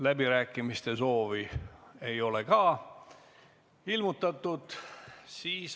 Läbirääkimiste soovi ei ole ilmutatud.